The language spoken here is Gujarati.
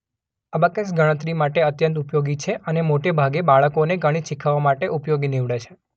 અબાકસ ગણતરી માટે અત્યંત ઉપયોગી છે અને મોટાભાગે બાળકોને ગણિત શીખવા માટે ઉપયોગી નીવડે છે.